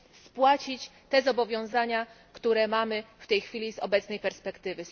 spłacić te zobowiązania, które mamy w tej chwili z obecnej perspektywy.